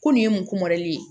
Ko nin ye mun ye